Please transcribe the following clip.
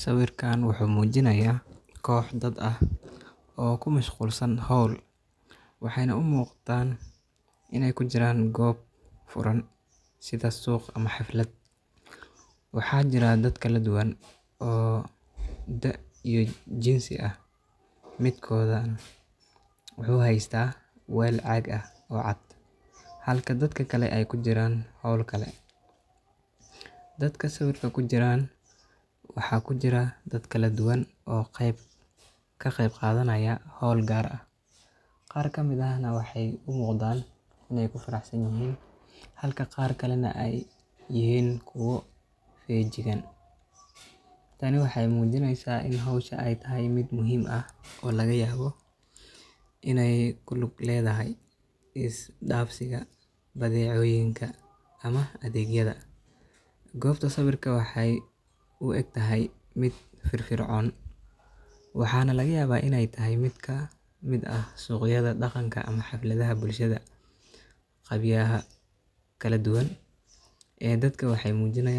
sawirkan wuxuu muujinayaa koox dad ah oo mashquul ku ah hawl maalmeed. Waxay u muuqdaan in ay joogaan goob furan, sida suuq ama xaflad. Sawirka waxaa ka muuqda dad kala duwan oo jinsi iyo da’ ahaanba kala duwan. Qof ka mid ah ayaa sita weyl caag ah oo cad, halka dadka kalena ay ku jiraan hawlo kale . Dadka sawirka ku jira waxay qeyb ka yihiin hawl u muuqata mid wadajir ah — qaar ayaa si xooggan ugu mashquulsan, qaarna waxaad mooddaa in ay soo indha-indheynayaan ama ka qeyb galeen si sahlan. Arrintani waxay tilmaamaysaa in hawshaasi tahay mid muhiim ah, laga yaabo in ay la xiriirto is-dhaafsiga badeecooyinka, adeegyada suuq-geynta, ama xaflad dhaqameed. Goobta sawirku ka muuqdo waxay leedahay firfircooni, waxaana suurtagal ah in ay tahay meel si dhaqan ama bulsho ah u muhiim ah — sida suuqyada dhaqanka ama xafladaha bulshada. Dadka ku jira